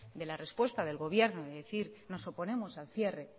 de la respuesta del gobierno de decir nos oponemos al cierre